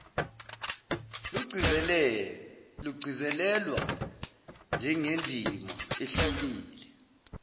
lugcizelelwa njengendima ehlukile